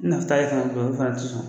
ye kankari da u ye, olu fana te sɔn.